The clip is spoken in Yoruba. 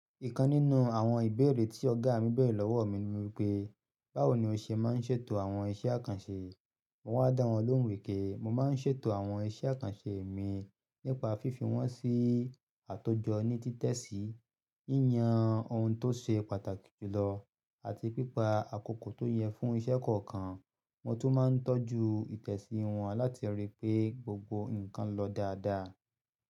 Ìkan nínú àwọn ìbéèrè tí ọ̀gá mi bèèrè lọ́wọ́ mi ni wípé, báwo ni o ṣe máa ń ṣètò àwọn iṣẹ́ àkànṣe? Mo ń dá wọn lóhùn wí pé mo máa ń ṣètò àwọn iṣẹ́ àkànṣe mi nípa fífi wọ́n sí àtòjọ ní títẹ̀sí, yíyan ohun tó ṣe pàtàkì jùlọ, àti pípa àkókò tó yẹ fún iṣẹ́ kọ̀ọ̀kan. Mo tún máa ń tọ́jú ìtẹ̀sí wọ́n láti ri pé gbogbo nǹkan lọ dáadáa.